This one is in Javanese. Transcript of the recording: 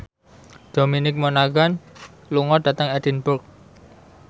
Dominic Monaghan lunga dhateng Edinburgh